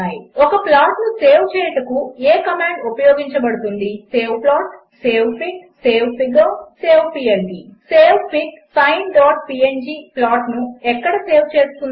1 ఒక ప్లాట్ను సేవ్ చేయుటకు ఏ కమాండ్ ఉపయోగించబడుతుంది saveplot savefig savefigure saveplt 4 savefig sineపీఎన్జీ ప్లాట్ను ఎక్కడ సేవ్ చేస్తుంది